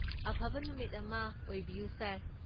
ꯑꯐꯕ ꯅꯨꯃꯤꯠ ꯑꯃ ꯑꯣꯏꯕꯤꯌꯨ, ꯁꯥꯔ!